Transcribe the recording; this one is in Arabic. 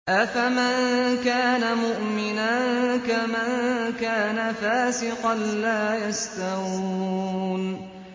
أَفَمَن كَانَ مُؤْمِنًا كَمَن كَانَ فَاسِقًا ۚ لَّا يَسْتَوُونَ